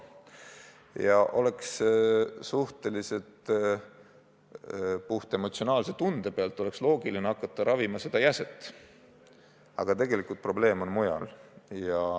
Ja puhtemotsionaalse tunde pealt oleks suhteliselt loogiline hakata ravima seda jäset, aga tegelikult probleem on mujal.